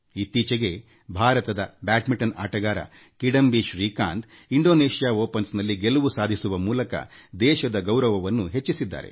ಇತ್ತೀಚೆಗೆ ಭಾರತದ ಬ್ಯಾಂಡ್ಮಿಂಟನ್ ಆಟಗಾರ ಕಿಡಂಬಿ ಶ್ರೀಕಾಂತ್ ಇಂಡೋನೇಷ್ಯಾ ಮುಕ್ತ ಪಂದ್ಯಾವಳಿಯಲ್ಲಿ ಗೆಲುವು ಸಾಧಿಸುವ ಮೂಲಕ ದೇಶದ ಗೌರವವನ್ನು ಹೆಚ್ಚಿಸಿದ್ದಾರೆ